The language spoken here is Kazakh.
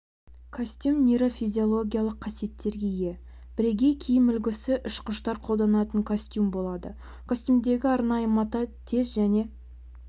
костюм нейрофизиологиялық қасиеттерге ие бірегей киім үлгісі ұшқыштар қолданатын костюм болады костюмдегі арнайы мата тез және